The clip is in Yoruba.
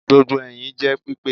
Gbogbo ẹhin jẹ pipe